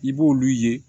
I b'olu ye